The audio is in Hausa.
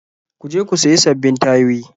Ku je ku sayi sabbin tayoyi.